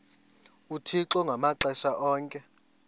uthixo ngamaxesha onke